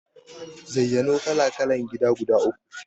Zayyano kala-kalan gida guda uku?